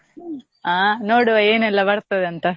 ಆ ನೋಡುವ ಏನೆಲ್ಲ ಬರ್ತದೆ ಅಂತ.